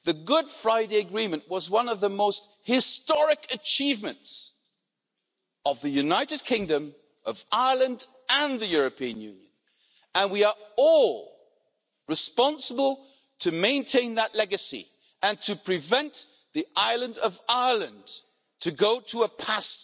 The Good Friday Agreement was one of the most historic achievements of the United Kingdom, Ireland and the European Union, and we are all responsible for maintaining that legacy and for preventing the island of Ireland from going back to a past